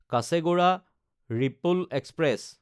কাছেগোডা–ৰিপল express